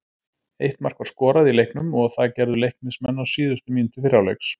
Eitt mark var skoraði í leiknum og það gerðu Leiknismenn á síðustu mínútu fyrri hálfleiks.